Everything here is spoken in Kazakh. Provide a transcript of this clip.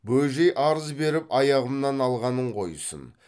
бөжей арыз беріп аяғымнан алғанын қойсын